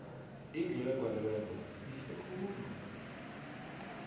indlu egwaliweko yihle khulu